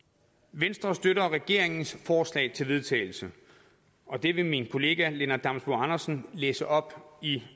venstre støtter regeringens forslag til vedtagelse og det vil min kollega herre lennart damsbo andersen læse op i